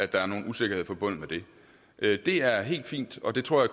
der er nogen usikkerhed forbundet med det det er helt fint og det tror